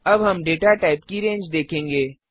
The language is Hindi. अब हम डेटा टाइप की रेंज देखेंगे